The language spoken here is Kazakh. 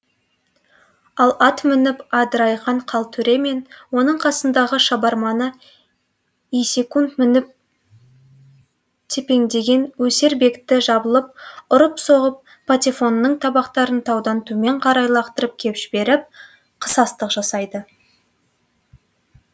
ал ат мініп адырайған қалтөре мен оның қасындағы шабарманы есек мініп тепеңдеген өсербекті жабылып ұрып соғып патефонының табақтарын таудан төмен қарай лақтырып кеп жіберіп қысастық жасайды